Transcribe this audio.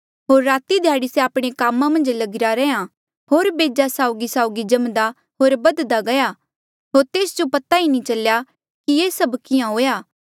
होर राती ध्याड़ी से आपणे कामा मन्झ लगिरा रैहया होर बेजा साउगीसाउगी जम्दा होर बधदा गया होर तेस जो पता नी चलेया कि ये सभ किहाँ हुएआ